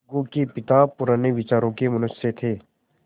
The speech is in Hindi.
अलगू के पिता पुराने विचारों के मनुष्य थे